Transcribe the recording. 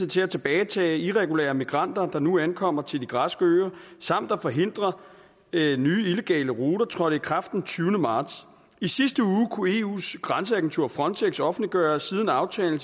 til at tilbagetage irregulære migranter der nu ankommer til de græske øer samt at forhindre nye illegale ruter trådte i kraft den tyve marts i sidste uge kunne eus grænseagentur frontex offentliggøre at siden aftalen